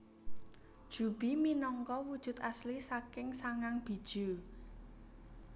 Juubi minangka wujud asli saking sangang bijuu